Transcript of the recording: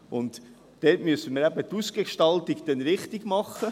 Dort müssen wir dann die Ausgestaltung eben richtigmachen.